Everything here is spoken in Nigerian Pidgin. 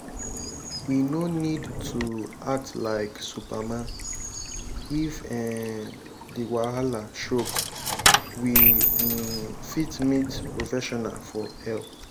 we no need to act like superman if um di wahala choke we um fit meet professional for help